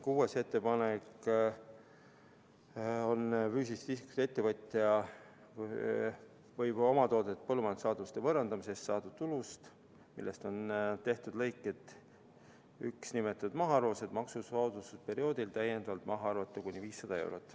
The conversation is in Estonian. Kuuenda ettepaneku järgi võib füüsilisest isikust ettevõtja omatoodetud põllumajandussaaduste võõrandamisest saadud tulust, millest on tehtud lõikes 1 nimetatud mahaarvamised, arvata maksusoodustusperioodil täiendavalt maha kuni 5000 eurot.